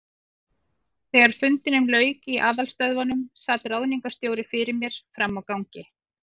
Þegar fundinum lauk í aðalstöðvunum, sat ráðningarstjóri fyrir mér frammi á gangi.